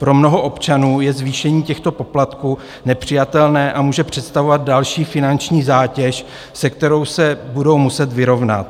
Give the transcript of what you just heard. Pro mnoho občanů je zvýšení těchto poplatků nepřijatelné a může představovat další finanční zátěž, se kterou se budou muset vyrovnat.